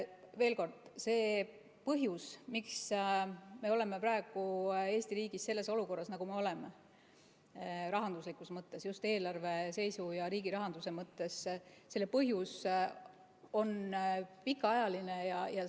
Veel kord, see põhjus, miks me oleme praegu Eesti riigis selles olukorras, nagu me rahanduslikus mõttes oleme, just eelarve seisu ja riigi rahanduse mõttes, on pikaajaline.